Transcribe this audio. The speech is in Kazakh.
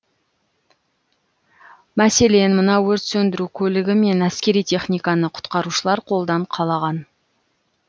мәселен мына өрт сөндіру көлігі мен әскери техниканы құтқарушылар қолдан қалаған